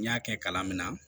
N y'a kɛ kalan min na